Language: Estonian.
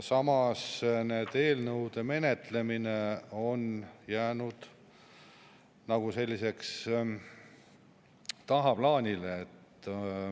Samas on nende eelnõude menetlemine jäänud tagaplaanile.